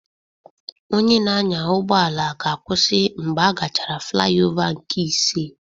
Onye na-anya ụgbọ ala ga-akwụsị mgbe agachara flayova nke ise